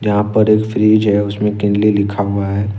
यहां पर एक फ्रिज है उस में केनली लिखा हुआ है।